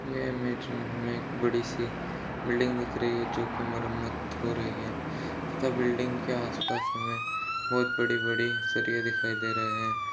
ये इमेज में हमे एक बड़ी सी बिल्डिंग दिख रही है जोकि मरम्मत हो रही है त-बिल्डिंग के आसपास हमे बहुत बड़ी-बड़ी सरिए दिखाई दे रहे है।